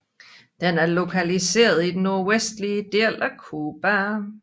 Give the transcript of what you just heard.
Den er lokaliseret i den nordvestlige del af Cuba